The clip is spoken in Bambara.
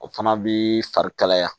O fana bi fari kalaya